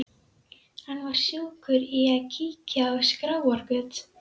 Hann var sjúkur í að kíkja á skráargöt.